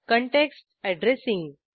context addressing